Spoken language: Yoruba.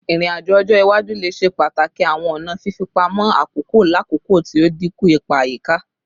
Irin-ajo ọjọ iwaju le ṣe pataki awọn ọna fifipamọ akoko lakoko ti o dinku ipa ayika